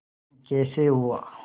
कैसे हुआ